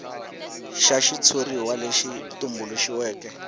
xa xitshuriwa lexi tumbuluxiweke a